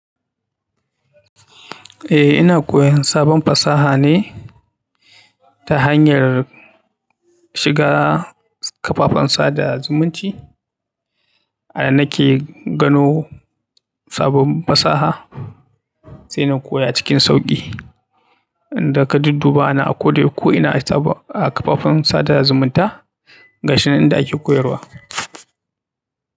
Eh ina koyon sabon fasaha ne ta hanyar shiga kafafen sada zumunci. Anan nake gano sabon fasaha sai na koya cikin sauƙi. Inda ka dudduba ana a koyau ko ina a kafafen sada zumunta ga shi nan inda ake koyarwa.